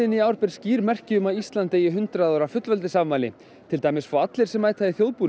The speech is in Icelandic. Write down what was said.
í ár ber skýr merki um að Ísland eigi hundrað ára fullveldisafmæli til dæmis fá allir sem mæta í þjóðbúningi